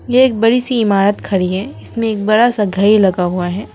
ये एक बड़ी सी इमारत खड़ी है इसमें एक बड़ा सा घड़ी लगा हुआ है।